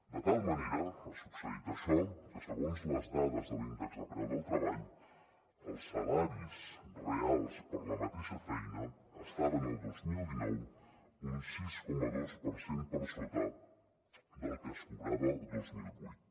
de tal manera ha succeït això que segons les dades de l’índex de preu del treball els salaris reals per la mateixa feina estaven el dos mil dinou un sis coma dos per cent per sota del que es cobrava el dos mil vuit